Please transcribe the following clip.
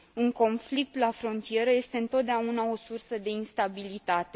Un conflict la frontieră este întotdeauna o sursă de instabilitate.